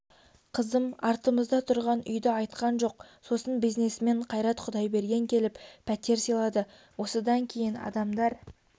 қызым артымызда тұрған үйді айтқан жоқ сосын бизнесмен қайрат құдайберген келіп пәтер сыйлады осыдан кейін адамдар